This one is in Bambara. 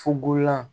Fukonlan